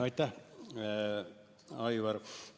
Aitäh, Aivar!